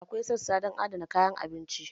Akwai sassa don adana kayan abinci.